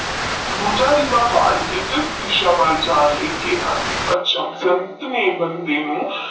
ਦੂਜਾ ਦੀਵਾ ਬਾਲ ਕੇ ਕਿੱਸ ਦਿਸ਼ਾ ਵਾਲ ਜਾਨ ਕਿਹਾ ਸੀ ਸੰਤ ਨੇਈ ਬੰਦੇ ਨੂੰ